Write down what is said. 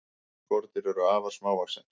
Sum skordýr eru afar smávaxin.